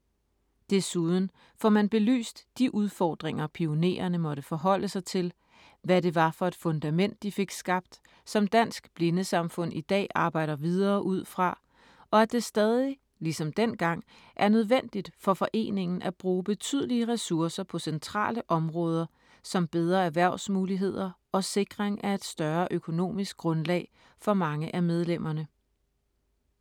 Desuden får man belyst de udfordringer, pionererne måtte forholde sig til, hvad det var for et fundament, de fik skabt, som Dansk Blindesamfund i dag arbejder videre ud fra, og at det stadig ligesom dengang er nødvendigt for foreningen at bruge betydelige ressourcer på centrale områder som bedre erhvervsmuligheder og sikring af et større økonomisk grundlag for mange af medlemmerne.